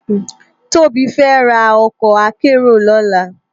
Tobi fè rá òkò àkèéró lòlá